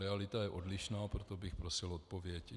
Realita je odlišná, proto bych prosil odpověď.